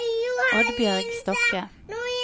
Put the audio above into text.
Oddbjørg Stokke